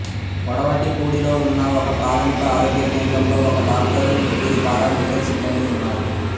కొడవటిపూడిలో ఉన్న ఒకప్రాథమిక ఆరోగ్య కేంద్రంలో ఒక డాక్టరు ముగ్గురు పారామెడికల్ సిబ్బందీ ఉన్నారు